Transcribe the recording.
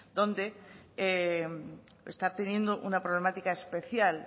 donde está teniendo una problemática especial